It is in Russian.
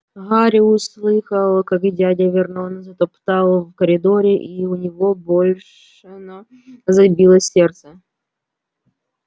гарри услыхал как дядя вернон затопал в коридоре и у него бешено забилось сердце